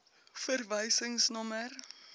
verwysingsnommer